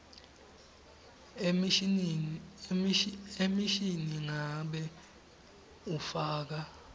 emishini nangabe ufaka